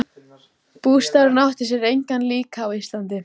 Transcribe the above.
Bústaðurinn átti sér engan líka á Íslandi.